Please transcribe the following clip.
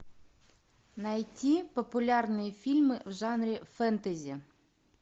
найти популярные фильмы в жанре фэнтези